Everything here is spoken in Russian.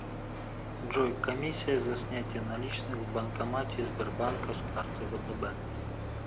джой комиссия за снятие наличных в банкомате сбербанка с карты втб